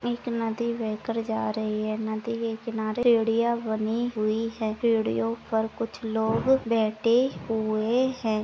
एक नदी बह कर जा रही है नदी के किनारे सीढ़ियां बनी हुई है सीढ़ियों पर कुछ लोग बैठे हुए हैं।